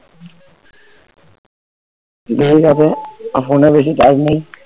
যেই যাবে এখন তো বেশি কাজ নেই